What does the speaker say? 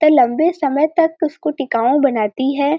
त लंबे समय तक उसको टिकाऊ बनाती है।